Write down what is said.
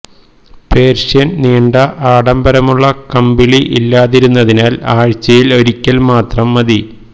Persian നീണ്ട ആഡംബരമുള്ള കമ്പിളി ഇല്ലാതിരുന്നതിനാൽ ആഴ്ചയിൽ ഒരിക്കൽ മാത്രം മതി